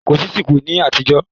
Kò sí síkù ní àtijọ́